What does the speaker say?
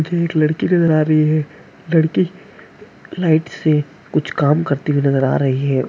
एक लड़की नजर आ रही है लड़की लाइट से कुछ काम करती हुई नजर आ रही है।